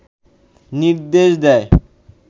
নির্দেশ দেয়